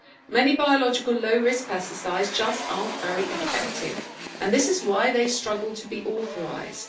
Many biological low risk pesticides are just not very effective and this is why they struggle to get authorisation.